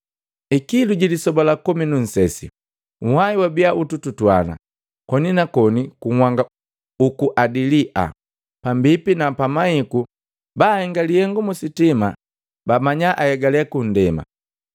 Ikilu jilisoba la komi nu nsese, nhwai wabia ututuana koni na koni ku nhanga uku Adilia, pambipi na pamahiku bahenga lihengu mu sitima bamanya ahegale kundema.